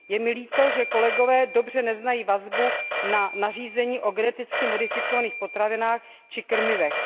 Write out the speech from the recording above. Je mi líto, že kolegové dobře neznají vazbu na nařízení o geneticky modifikovaných potravinách či krmivech.